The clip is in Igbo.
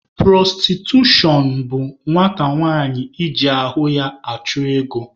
Pụrọstitushọn bụ nwata nwanyị iji ahụ ya chụọ ego.